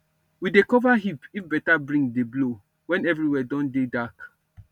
we dey cover heap if better bring dey blow when everywhere don dey dark